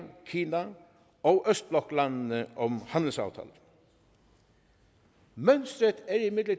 kina og østbloklandene om handelsaftaler mønsteret